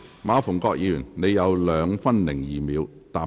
馬逢國議員，你還有2分02秒答辯。